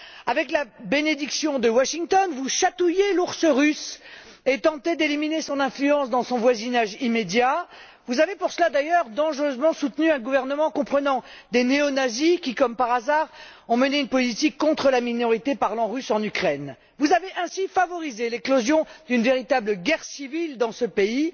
Avec la bénédiction de Washington, vous chatouillez l'ours russe et tentez d'éliminer son influence dans son voisinage immédiat. D'ailleurs, vous avez à cette fin dangereusement soutenu un gouvernement comprenant des néo nazis, qui, comme par hasard, ont mené une politique contre la minorité russophone en Ukraine. Vous avez ainsi favorisé l'éclosion d'une véritable guerre civile dans ce pays.